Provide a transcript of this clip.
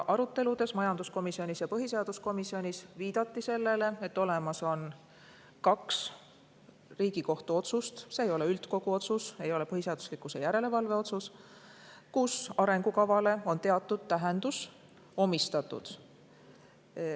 Jah, ka majanduskomisjonis ja põhiseaduskomisjonis viidati aruteludes sellele, et olemas on kaks Riigikohtu otsust – need ei ole üldkogu otsused, ei ole põhiseaduslikkuse järelevalve otsused –, kus arengukavale on teatud tähendus omistatud.